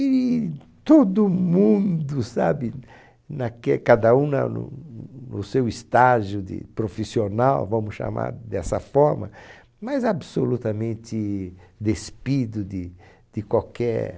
E todo mundo, sabe, naque cada um na no seu estágio de profissional, vamos chamar dessa forma, mas absolutamente despido de de qualquer...